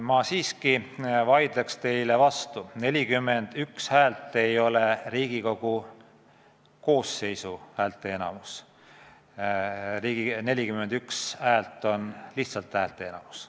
Ma siiski vaidlen teile vastu: 41 häält ei ole Riigikogu koosseisu häälteenamus, 41 poolthäält on lihtsalt häälteenamus.